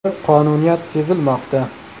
Bir qonuniyat sezilmoqda.